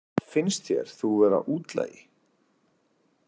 Finnst þér þú vera útlagi?